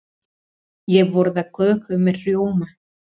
Ég borða köku með rjóma.